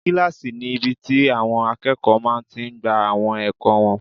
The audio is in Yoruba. Kílásì ni ibi tí àwọn akẹ́kọ̀ọ́ máa tí n gba àwọn ẹ̀kọ́ wọn